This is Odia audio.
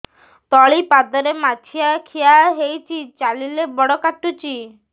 ତଳିପାଦରେ ମାଛିଆ ଖିଆ ହେଇଚି ଚାଲିଲେ ବଡ଼ କାଟୁଚି